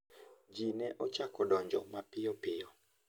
Ji ne ochako donjo mapiyopiyo.